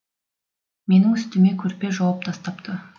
менің үстіме көрпе жауып тастапты